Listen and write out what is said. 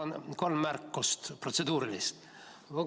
Mul on kolm protseduurilist märkust.